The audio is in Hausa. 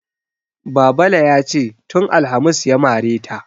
Babale ya ce "tun alhamis ya mare ta".